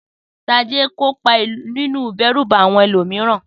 Sade kópa nínú ìdẹ́rùbà àwọn ẹlòmíràn.